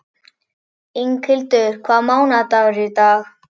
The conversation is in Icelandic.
Inghildur, hvaða mánaðardagur er í dag?